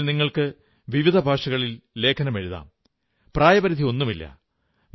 ഇതിൽ നിങ്ങൾക്ക് വിവിധ ഭാഷകളിൽ ലേഖനമെഴുതാം പ്രായപരിധിയൊന്നുമില്ല